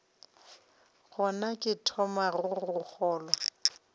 gona ke thomago go kgolwa